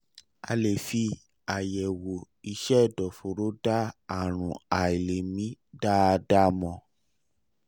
a lè fi àyẹ̀wò iṣẹ́ ẹ̀dọ̀fóró dá àrùn àìlèmí dáadáa mọ̀